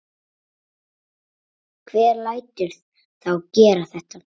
Hver lætur þá gera þetta?